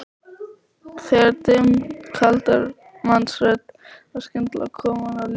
Þegar dimm karlmannsrödd var skyndilega komin á línuna strauk